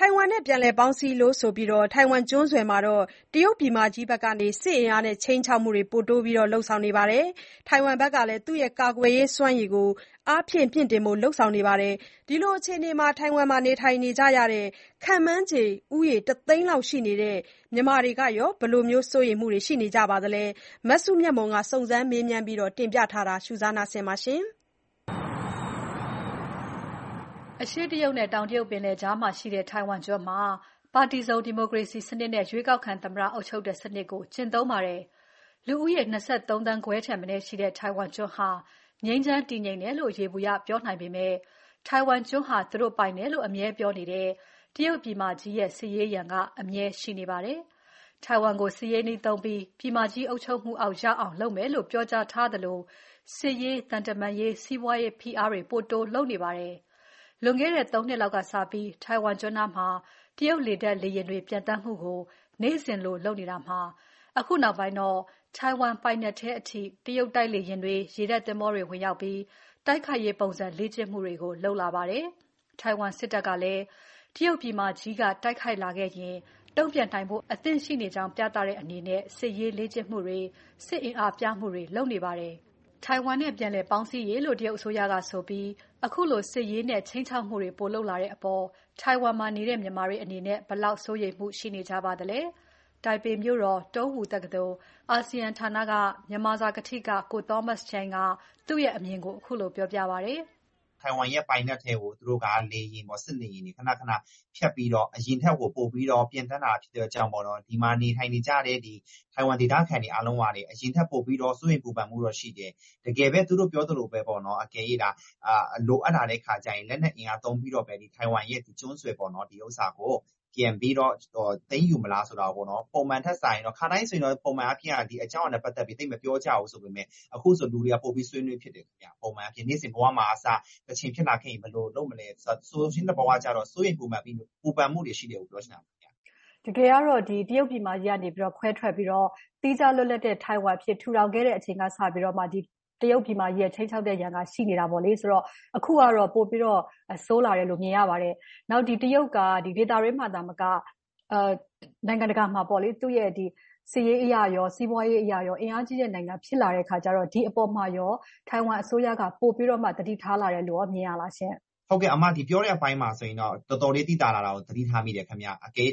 ိုင်ဝမ်နဲ့ ပြန်လည်ပေါင်းစည်းရေးလို့ဆိုပြီး ထိုင်ဝမ်ကျွန်းဆွယ်မှာ တရုတ်ပြည်မကြီးဘက်က စစ်အင်အားနဲ့ ခြိမ်းခြောက်မှုတွေ ပိုတိုးလုပ်နေပါတယ်။ ထိုင်ဝမ်ကလည်း သူ့ရဲ့ ကာကွယ်ရေးးစွမ်းရည်ကို အားဖြည့် မြှင့်တင်ဖို့လုပ်နေပါတယ်။ အဲဒီလိုအခြေအနေမှာ ထိုင်ဝမ်မှာနေထိုင်နေကြတဲ့ ခန့်မှန်းခြေ ၁ သိန်းလောက်ရှိနေတဲ့ မြန်မာတွေကရော ဘယ်လောက်စိုးရိမ်နေကြပါသလဲ။ မစုမြတ်မွန်က စုံစမ်းမေးမြန်းပြီး တင်ပြထားပါတယ်။ အရှေ့တရုတ်နဲ့ တောင်တရုတ်ပင်လယ်ကြားမှာရှိတဲ့ ထိုင်ဝမ်ကျွန်းမှာ ပါတီစုံဒီမိုကရေစီစနစ်နဲ့ ရွေးကောက်ခံ သမ္မတအုပ်ချုပ်တဲ့စနစ်ကို ကျင့်သုံးပါတယ်။ လူဦးရေ ၂၃.၅ သန်းထက်မနည်းရှိတဲ့ ထိုင်ဝမ်ကျွန်းဟာ ငြိမ်းချမ်းတည်ငြိမ်တယ်လို့ ယေဘူယျပြောနိုင်ပေမဲ့ ထိုင်ဝမ်းကျွန်းဟာ သူတို့ပိုင်တယ်လို့ အမြဲပြောနေတဲ့ တရုတ်ပြည်မကြီးရဲ့ စစ်ရေးရန်က အမြဲရှိနေပါတယ်။ ထိုင်ဝမ်ကို စစ်ရေးနည်းသုံးပြီး ပြည်မကြီး အုပ်ချုပ်မှုအောက်ရောက်အောင် လုပ်မယ်လို့ ပြောကြားထားသလို၊ စစ်ရေး၊ သံတမန်ရေး စီးပွားရေးဖိအားတွေ ပိုတိုးလုပ်နေပါတယ်။ လွန်ခဲ့တဲ့ ၃ နှစ်လောက်ကစပြီး ထိုင်ဝမ်ကျွန်းနားမှာ တရုတ်လေတပ်လေယာဉ်တွေ ပျံသန်းမှုကို နေ့စဉ်လိုလုပ်နေတာမှာ အခုနောက်ပိုင်းမှာတော့ ထိုင်ဝမ်ပိုင်နက်ထဲအထိ တရုတ်တိုက်လေယာဉ်တွေ၊ ရေတပ်သင်္ဘောတွေ ဝင်ရောက်ပြီး တိုက်ခိုက်ရေးပုံစံ လေ့ကျင့်မှုတွေကို လုပ်လာပါတယ်။ ထိုင်ဝမ်စစ်တပ်ကလည်း တရုတ်ပြည်မကြီးက တိုက်ခိုက်လာရင် တုံ့ပြန်နိုင်ဖို့ အသင့်ရှိနေကြောင်းပြသတဲ့အနေနဲ့ စစ်ရေးလေ့ကျင့်မှုတွေ စစ်အင်အားပြမှုတွေ လုပ်နေပါတယ်။ ထိုင်ဝမ်နဲ့ ပြန်လည်ပေါင်းစည်းရေးလို့ တရုတ်အစိုးရကဆိုပြီး ခုလိုစစ်ရေးနဲ့ ခြိမ်းခြောက်မှုတွေ ပိုလုပ်လာတဲ့အပေါ် ထိုင်ဝမ်မှာနေတဲ့ မြန်မာတွေအနေနဲ့ ဘယ်လောက်စိုးရိမ်မှုရှိနေကြပါသလဲ။ တိုင်ပေမြို့တော် တုန်းဝူတက္ကသိုလ်၊ အာဆီယံဌာန မြန်မာစာကထိက ကို Thomas Chen က သူ့ရဲ့ အမြင်ကိုခုလို ပြောပြပါတယ်။ "ထိုင်ဝမ်ပိုင်နက်ထဲကို (တရုတ်) စစ်လေယာဉ်တွေ ခဏခဏ ဖြတ်ပြီးတော့ အရင်ထက် ပိုပြီး ပျံသန်းလာတာကြောင့် ဒီမှာနေထိုင်တဲ့ ထိုင်ဝမ်ဒေသခံအားလုံးကလည်း အရင်ထက်ပို စိုးရိမ်ပူပင်မှုရှိတယ်။ တကယ်ပဲ သူတို့ပြောသလို လိုအပ်လာရင်လက်နက်အင်အားသုံးပြီး၊ ထိုင်ဝမ်ကျွန်းဆွယ်ကို ပြန်ပြီး သိမ်းယူမလားဆိုတာ။ ခါတိုင်း ပုံမှန်အားဖြင့်ဆိုရင် ဒီအကြောင်းအရာနဲ့ပတ်သက်ပြီး သိပ်မပြောကြဘူးဆိုပေမယ့် အခုဆို လူတွေ ပိုဆွေးနွေးဖြစ်တယ်။ နေ့စဉ်ဘဝမှာကအစ တချိန်ဖြစ်လာခဲ့ရင် ဘယ်လိုလုပ်မလဲ၊ စိုးရိမ်ပူပင်မှုတွေရှိတယ် ပြောချင်တာပါ။" တကယ်ကတော့ တရုတ်ပြည်မကြီးကနေ ခွဲထွက်ပြီး သီးခြားလွတ်လပ်တဲ့ ထိုင်ဝမ်အဖြစ် ထူထောင်ခဲ့တဲ့အချိန်ကစပြီး တရုတ်ပြည်မကြီးရဲ့ခြိမ်းခြောက်တဲ့ရန်က ရှိနေတာပါ။ အခုကတော့ ပိုပြီး ဆိုးလာတယ်လို့ မြင်ရပါတယ်။ နောက် တရုတ်က ဒေသတွင်းသာမက နိုင်ငံတကာမှာပါ သူ့ရဲ့စစ်ရေးအရရော၊ စီးပွားရေးအရရော အင်အားကြီးတဲ့နိုင်ငံဖြစ်လာတဲ့အခါကျတော့.. ဒီအပေါ်မှာရော ထိုင်ဝမ်အစိုးရက ပိုပြီး သတိထားလာတယ်လို့ရော မြင်ရပါသလားရှင့်။ " ဟုတ်ကဲ့အမပြောတဲ့အပိုင်းမှာဆိုရင် တော်တော်လေး သိသာလာတာသတိထားမိတယ်ခင်ဗျာ။ ထိုင်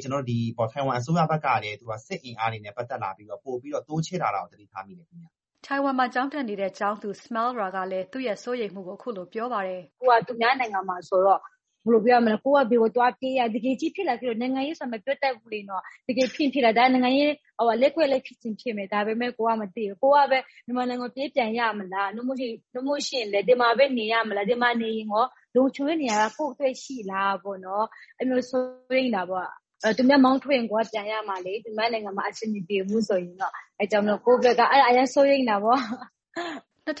ဝမ်အစိုးရဖက်ကလည်း စစ်အင်အားနဲ့ပတ်သက်လာရင် ပိုပြီး တိုးချဲ့လာတာသတိထားမိတယ်။" ထိုင်ဝမ်မှာ ကျောင်းတက်နေတဲ့ ကျောင်းသူ Smile Ra ကလည်းသူ့ရဲ့စိုးရိမ်မှုကို ခုလိုပြောပါတယ်။ "ကိုယ်က သူများနိုင်ငံမှာဆိုတော့ မပြောတတ်ဘူးလေ တကယ်ဖြစ်ရင်ဖြစ်လာမယ်။ နိုင်ငံရေးဆိုတာ မပြောတတ်ဘူးလေ၊ တကယ်ဖြစ်ရင်လည်းဖြစ်မယ်၊ နိုင်ငံရေးလှည့်ကွက်လည်းဖြစ်မယ် ဒါပေမယ့် ကိုယ်ကမသိဘူး။ ကိုယ်ကပဲ မြန်မာနိုင်ငံကို ပြေးပြန်ရမလား၊ ဒီမှာပဲ နေရမလား၊ ဒီမှာနေရင်ရော လုံခြုံတဲ့နေရာ ကိုယ့်အတွက်ရှိလား အဲလိုမျိုးစိုးရိမ်တာပေါ့။ သူများမောင်းထုတ်ရင် ကိုယ်က ပြန်ရမှာလေ၊ သူများနိုင်ငံမှာနေရင်အဆင်မပြေဘူးဆိုရင်ပေါ့။ အဲဒါကြောင့် ကိုယ့်ဖက်က အရမ်းစိုးရိမ်တာပေါ့။" ၂၀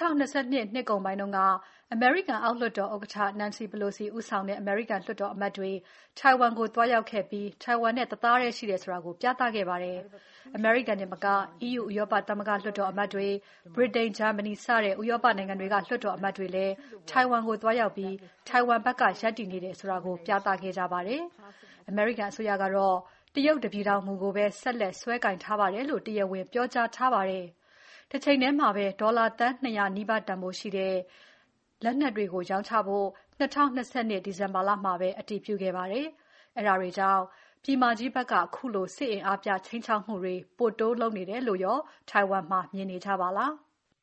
၂၂ နှစ်ကုန်ပိုင်းက အမေရိကန်အောက်လွှတ်တော်ဥက္ကဋ္ဌ နန်စီပလိုစီဦးဆောင်တဲ့ အမေရိကန်လွှတ်တော်အမတ်တွေထိုင်ဝမ်ကို သွားရောက်ခဲ့ပြီး ထိုင်ဝမ်နဲ့ တသားထဲရှိတယ်ဆိုတာ ပြသခဲ့ပါတယ်။ အမေရိကန်တင်မက EU ဥရောပသမဂ္ဂလွှတ်တော်အမတ်တွေ၊ ဗြိတိန်၊ ဂျာမနီစတဲ့ဥရောပနိုင်ငံတွေက လွှတ်တော်အမတ်တွေလည်း ထိုင်ဝမ်ကို သွားရောက်ပြီး ထိုင်ဝမ်ဘက်က ရပ်တည်နေတယ်ဆိုတာကို ပြသခဲ့ကြပါတယ်။ အမေရိကန်အစိုးရကတော့ တရုတ်တပြည်ထောင်မူကိုပဲ ဆက်လက်ကိုင်စွဲထားပါတယ်လို့ တရားဝင်ပြောကြားထားပါတယ်။ တချိန်ထဲမှာ ဒေါ်လာသန်း ၂၀၀ နီးပါးတန်ဖိုးရှိတဲ့ နီးပါးတန်ဖိုးလက်နက်တွေရောင်းဖို့ ၂၀၂၂ ဒီဇင်ဘာမှာ အတည်ပြုခဲ့ပါတယ်။ အဲဒါတွေကြောင့် ပြည်မကြီးဖက်က ခုလို စစ်အင်အားပြ ခြိမ်းခြောက်မှုတွေ ပိုတိုးလုပ်နေတယ်လို့ရောင် ထိုင်ဝမ်မှာ မြင်နေကြပါလား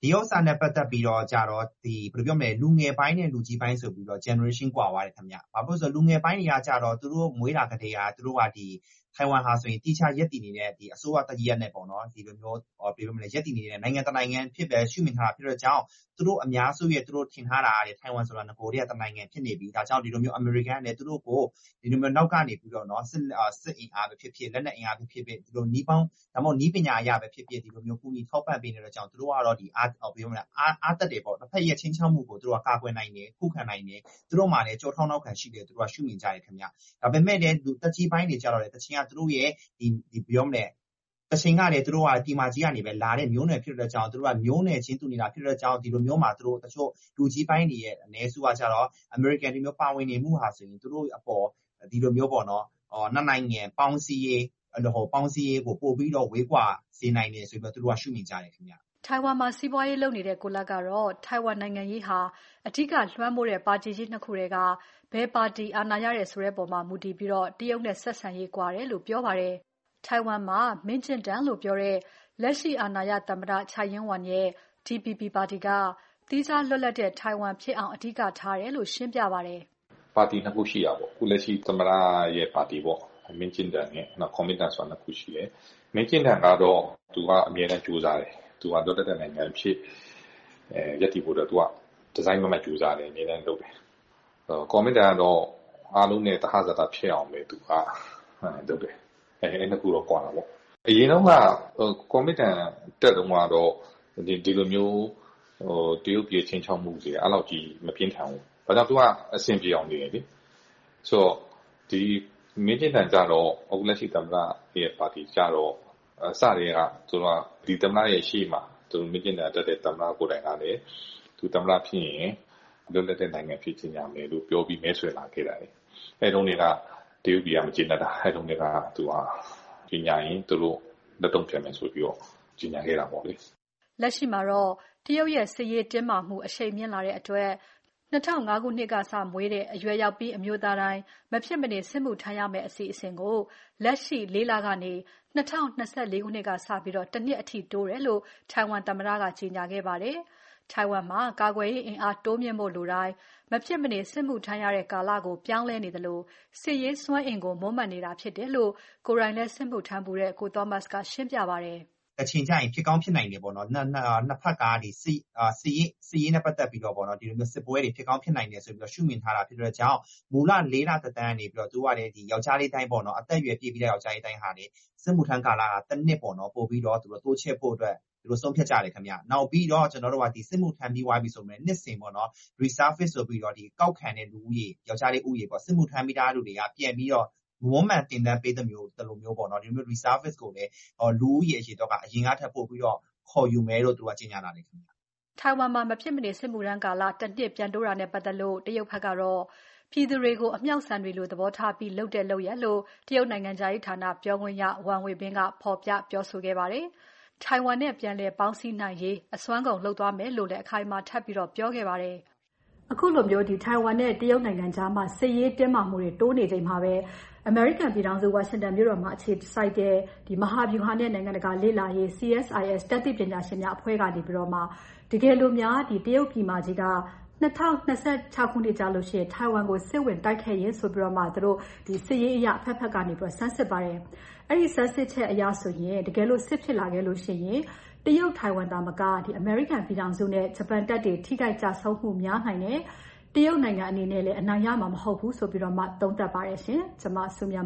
ကိုသောမတ်ကိုမေးကြည့်ပါတယ်။ " ဒီဟာနဲ့ပတ်သက်ပြီး လူငယ်ပိုင်းနဲ့ လူကြီးပိုင်းဆိုပြီး Generation ကွာသွားတယ်။ လူငယ်ပိုင်းတွေကတော့ သူတို့မွေးလာကတည်းက ထိုင်ဝမ်ဟာ သီးခြားရပ်တည်နေတဲ့ အစိုးရတရပ် နိုင်ငံတနိုင်ငံအဖြစ်ပဲ ရှုမြင်ထားတာကြောင့်၊ သူတို့အများစုရဲ့ ထင်ထားတာက ထိုင်ဝမ်ဆိုတာ နဂိုလ်ကတည်းက တနိုင်ငံဖြစ်နေပြီ၊ အမေရိကန်ကလည်း သူတို့ကို နောက်က စစ်အင်အားပဲဖြစ်ဖြစ် လက်နက်အင်အားပဲဖြစ်ဖြစ် နည်းပညာအရပဲဖြစ်ဖြစ် ကူညီထောက်ပံ့ပေးနေတဲ့အတွက် သူတို့က အားတတ်တယ်၊ ခြိမ်းခြောက်မှုကို ကာကွယ်နိုင်တယ် ခုခံနိုင်တယ် သူတို့မှာလည်း ကျောထောက်နောက်ခံရှိတယ်လို့ ရှုမြင်ကြတယ်ခင်ဗျ။ ဒါပေမယ့်လည်း သက်ကြီးပိုင်းတွေကျတော့ တချိန်က သူတို့က ပြည်မကြီးကလာတဲ့မျိုးနွယ်ဖြစ်တယ်။သူတို့က မျိုးနွယ်ချင်းတူနေတာဖြစ်တဲ့အတွက်ကြောင့် လူကြီးပိုင်းအနည်းစုကကျတော့ အမေရိကန်ပါဝင်နေမှုဟာ နှစ်နိုင်ငံပေါင်းစည်းရေးကို ပိုပြီး ဝေးကွာစေနိုင်တယ်လို့ သူတို့က ရှုမြင်ကြတယ်။" ထိုင်ဝမ်မှာ စီးပွားရေးလုပ်နေတဲ့ ကိုလတ်ကတော့ ထိုင်ဝမ်နိုင်ငံရေးမှာ အဓိကလွှမ်းမိုးတဲ့ ပါတီကြီး ၂ ခုထဲက ဘယ်ပါတီအာဏာရတယ်ဆိုတာပေါ်မှာ မူတည်ပြီး တရုတ်နဲ့ဆက်ဆံရေး ကွာတယ်လို့ ပြောပါတယ်။ ထိုင်ဝမ်မှာ မင်းကျင့်တန်လို့ပြောတဲ့ လက်ရှိအာဏာရ သမ္မတ ချိုက်ယင်းဝမ်ရဲ့ Democratic Progressive Party (DPP) ပါတီက သီးခြားလွတ်လပ်တဲ့ ထိုင်ဝမ်ဖြစ်အောင်ပဲ အဓိကထားတယ်လို့ ရှင်းပြပါတယ်။ " ပါတီနှစ်ခုရှိတာပေါ့။ ခုလက်ရှိသမ္မတရဲ့ပါတီ မင်းကျင့်တန်နဲ့ ကူမင်တန်ဆိုတာ နှစ်ခုရှိတယ်။ မင်းကျင့်တန်ကတော့ သူက အမြဲတမ်းကြိုးစားတယ်။ လွတ်လပ်တဲ့နိုင်ငံအဖြစ် ရပ်တည်ဖို့အတွက် သူက တစိုက်မတ်မတ်ကြိုးစားတယ်။ ကူမင်တန်ကတော့ အားလုံးနဲ့သဟဇာတဖြစ်အောင်ပဲ သူက လုပ်တယ်။ အဲဒီနှစ်ခုကွာတာပေါ့။ အရင်ကူမင်တန်တတ်တုန်းကတော့ ဒီလို တရုတ်ပြည်ရဲ့ခြိမ်းခြောက်မှုတွေ အဲဒီ့လောက်ကြီး မပြင်းထန်ဘူး။ သူက အဆင်ပြေအောင်နေတယ်လေ။ အခုလက်ရှိ သမ္မတရဲ့ပါတီ မင်းကျင့်တန်ကျတော့ စကတည်းက သူ သမ္မတဖြစ်ရင် လွတ်လပ်တဲ့နိုင်ငံအဖြစ်ကြေညာမယ်လို့ ပြောပြီး မဲဆွယ်လာခဲ့တာ။ အဲဒီ့တုန်းကတည်းက တရုတ်ပြည်က မကျေနပ်လာခဲ့တာ၊ ကြေညာရင် သူတို့ လက်တုန့်ပြန်မယ်ဆိုပြီးတော့ ကြေညာခဲ့တာပေါ့လေ။" လက်ရှိမှာတော့ တရုတ်နဲ့ စစ်ရေးတင်းမာမှု အရှိန်မြင့်လာတဲ့အတွက် ၂၀၀၅ ခုနှစ်ကစပြီးမွေးတဲ့ အရွယ်ရောက်ပြီး အမျိုးသားတိုင်း မဖြစ်မနေစစ်မှုထမ်းရတဲ့ အစီအစဉ်ကို လက်ရှိ ၄ လကနေ ၂၀၂၄ ကစပြီး ၁ နှစ်အထိတိုးတယ်လို့ ထိုင်ဝမ်သမ္မတက ကြေညာထားပါတယ်။ ထိုင်ဝမ်မှာ ကာကွယ်ရေးအင်အားတိုးမြှင့်ဖို့လိုတိုင်း မဖြစ်မနေ စစ်မှုထမ်းရတဲ့ ကာလကို ပြောင်းလဲနေသလို စစ်ရေးစွမ်းအင်ကို မွမ်းမံနေတာဖြစ်တယ်လို့ ကိုယ်တိုင်လည်း စစ်မှုထမ်းဖူးတဲ့ ကိုသောမတ်ချန်းက ရှင်းပြပါတယ်။ "တချိန်ကျရင်ဖြစ်ကောင်းဖြစ်နိုင်တယ်ပေါ့၊ နှစ်ဖက်က စစ်ပွဲတွေဖြစ်ကောင်းဖြစ်နိုင်တယ်ဆိုပြီးတော့ ရှုမြင်ထားတာဖြစ်တာကြောင့် မူလ လေးလသက်တမ်းကနေပြီးတော့ အသက်အရွယ်ပြည့်ပြီး ယောင်္ကျားလေးတိုင်းဟာ စစ်မှုထမ်းကာလ တနှစ်တိုးချဲ့ဖို့အတွက် ဆုံးဖြတ်ကြတယ်။ စစ်မှုထမ်းပြီးသွားပြီဆိုရင်လည်း နှစ်စဉ် re-service ဆိုပြီး စစ်မှုထမ်းပြီးသားလူတွေကို မွန်းမံသင်တန်းပေးသလိုမျိုး အရင်ကပိုပြီး ခေါ်ယူမယ်လို့ သူက ကြေညာထားပြီ။" ထိုင်ဝမ်မှာ မဖြစ်မနေ စစ်မှုထမ်းရမယ့်ကာလ ၁ နှစ်အထိ ပြန်တိုးတာနဲ့ပါတ်သက်လို့ တရုတ်ဖက်ကတော့ ပြည်သူတွေကို အမြှောက်ဆံတွေကို သဘောထားပြီး လုပ်တဲ့လုပ်ရပ်လို့ တရုတ်နိုင်ငံခြားရေးဌာနပြောခွင့်ရ ဝမ်ဝေဘင်က ဖော်ပြပြောဆိုခဲ့ပါတယ်။ ထိုင်ဝမ်နဲ့ ပြန်လည်ပေါင်းစည်းနိုင်ရေး အစွမ်းကုန်လုပ်သွားမယ်လို့လည်း အခိုင်အမာပြောနေပါတယ်။ အခုလို ထိုင်ဝမ်နဲ့ တရုတ်ကြား စစ်ရေးတင်းမာမှုတိုးမြင့်နေချိန် အမေရိကန်ပြည်ထောင်စု ဝါရှင်တန်အခြေစိုက် မဟာဗြူဟာနဲ့ နိုင်ငံတကာလေ့လာရေး Center for Strategic and International Studies (CSIS) တတ်သိပညာရှင်တွေက တကယ်လို့များ တရုတ်ပြည်မကြီးက ၂၀၂၆ ခုနှစ်မှာ စစ်ဝင်တိုက်ခဲ့ရင်ဆိုပြီး အဘက်ဘက်က ဆန်းစစ်ခဲ့တာမှာတော့ တရုတ်၊ ထိုင်ဝမ်၊ အမေရိကန်ပြည်ထောင်စုနဲ့ ဂျပန်တပ်တွေ ထိခိုက်ကျဆုံးမှုများနိုင်သလို တရုတ်ဘက်ကလည်း အနိုင်ရနိုင်မှာ မဟုတ်ဘူးလို့ သုံးသပ်ပါတယ်ရှင်။ ကျွန်မစုမြတ်မ